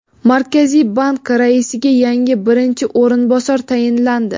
Markaziy bank raisiga yangi birinchi o‘rinbosar tayinlandi.